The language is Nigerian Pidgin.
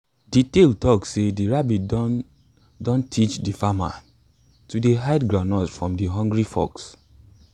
de tale talk sey de rabbit don don teach de farmer to dey hide groundnuts from de hungry fox